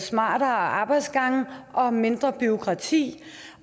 smartere arbejdsgange og mindre bureaukrati